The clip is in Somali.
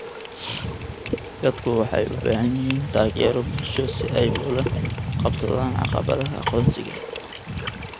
Dadku waxay u baahan yihiin taageero bulsho si ay ula qabsadaan caqabadaha aqoonsiga.